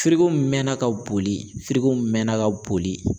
Firiko mɛna ka boli, firiko mɛna ka boli.